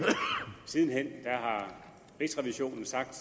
siden hen har rigsrevisionen sagt